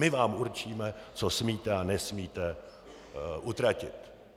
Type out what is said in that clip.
My vám určíme, co smíte a nesmíte utratit.